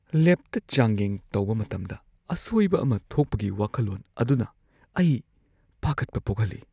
ꯂꯦꯕꯇ ꯆꯥꯡꯌꯦꯡ ꯇꯧꯕ ꯃꯇꯝꯗ ꯑꯁꯣꯏꯕ ꯑꯃ ꯊꯣꯛꯄꯒꯤ ꯋꯥꯈꯜꯂꯣꯟ ꯑꯗꯨꯅ ꯑꯩ ꯄꯥꯈꯠꯄ ꯄꯣꯛꯍꯜꯂꯤ꯫